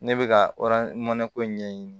Ne bɛ ka mɔnɛko ɲɛɲini